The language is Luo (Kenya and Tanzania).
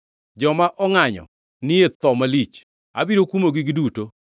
Joma ongʼanyo ni e tho malich. Abiro kumogi giduto.